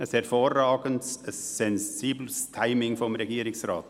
– Ein hervorragendes, ein sensibles Timing des Regierungsrates.